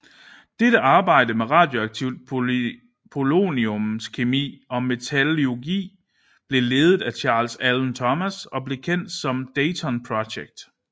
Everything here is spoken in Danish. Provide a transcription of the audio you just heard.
Dette arbejde med radioaktivt poloniumskemi og metallurgi blev ledet af Charles Allen Thomas og blev kendt som Dayton Project